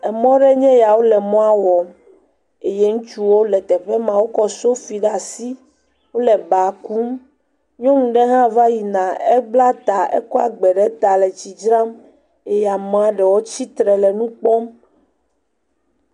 Emɔ ɖe nye ya, wole emɔa wɔm le teƒe maa, wokɔ sofi ɖe asi, wole b akum, nyɔnu ɖe hã va yina ebla ta, ekɔe agba ɖe ta le etsi dzram eye amea ɖewo tsitre le nukpɔ.